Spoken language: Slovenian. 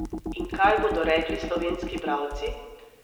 In kaj bodo rekli slovenski bralci?